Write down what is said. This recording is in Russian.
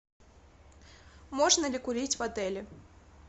можно ли курить в отеле